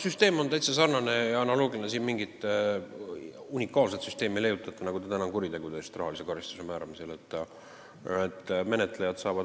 Süsteem on täitsa sarnane ja analoogiline sellega – siin ei ole vaja mingit unikaalset süsteemi leiutada –, nagu praegu on süsteem kuritegude eest rahalise karistuse määramisel.